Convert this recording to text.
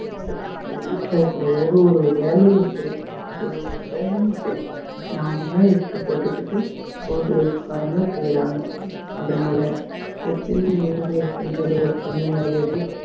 அதுக்கு அப்பறம் வீட்ல இருக்குற ஒரு ஒரு வேலையும் செய் ஒரு ஒரு வேலையும் சரி நாமதான் எடுத்து போட்டுக்கிட்டு house wife காரங்க செய்யறாங்க அதனால எப்பயுமே house wife ன்றது ஒரு தனி மரியாதை